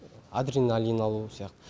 адреналин алу сияқты